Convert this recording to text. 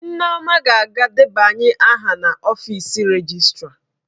Nneoma ga-aga debanye aha n'ọfịs rejịstra.